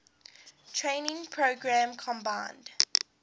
training program combined